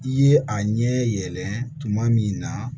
I ye a ɲɛ yɛlɛ tuma min na